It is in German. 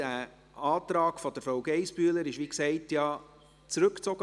Der Antrag von Grossrätin Geissbühler wurde, wie gesagt, zurückgezogen.